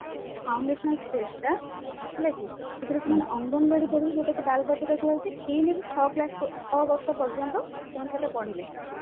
foundational phase ଟା ହେଲା କି ସେଥିରେ ସେମାନେ ଅଙ୍ଗନବାଡି ପଢିବେ ଯୋଉଟାକୁ କୁହା ଯାଉଛି ଏଇନା ଛଅ class ଛଅ ବର୍ଷ ପର୍ଯ୍ୟନ୍ତ ସେମାନେ ସେଇଟା ପଢିବେ